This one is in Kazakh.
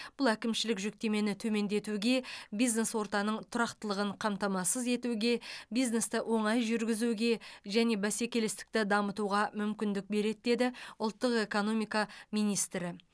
бұл әкімшілік жүктемені төмендетуге бизнес ортаның тұрақтылығын қамтамасыз етуге бизнесті оңай жүргізуге және бәсекелестікті дамытуға мүмкіндік береді деді ұлттық экономика министрі